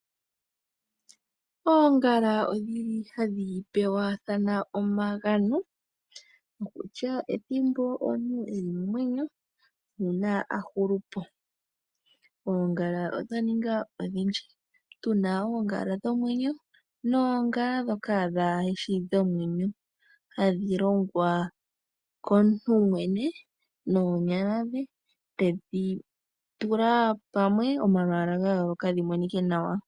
Oongala odhili hadhi pewathana omagano. Okokutya ethimbo omuntu eli momwenyo nuuna a hulu po. Oongala odha ninga odhindji, tu na oongala dhomwenyo noongala ndhoka dhaashi dhimwe hadhi longwa komuntu yemwene, noonyala dhe, tedhi tula pamwe omalwaala ga yooloka dhi monike nawa.